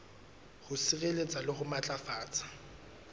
ho sireletsa le ho matlafatsa